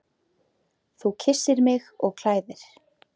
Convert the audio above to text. Þú kyssir mig og klæðir.